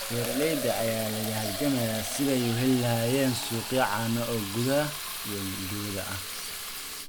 Beeralayda ayaa la halgamaya sidii ay u heli lahaayeen suuqyo caano oo gudaha iyo dibadda ah.